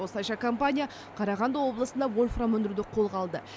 осылайша компания қарағанды облысында вольфрам өндіруді қолға алды